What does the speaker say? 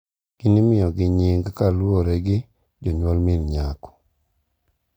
Gin imiyogi nying’ kaluwore gi jonyuol min nyako.